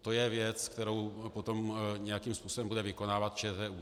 To je věc, kterou potom nějakým způsobem bude vykonávat ČTÚ.